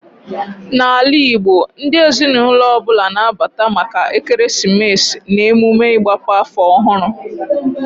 Na ala Igbo, ndị ezinụlọ ọbụla na abata maka ekeresimesi na emume ịgbape afọ ọhụrụ